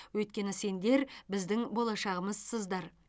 өйткені сендер біздің болашағымызсыздар